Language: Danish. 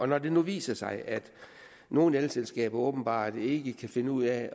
når det nu viser sig at nogle elselskaber åbenbart ikke kan finde ud af